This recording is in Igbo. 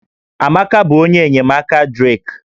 Amaka bụ onye enyemaka Drake